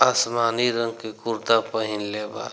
आसमानी रंग के कुर्ता पहिनले बा।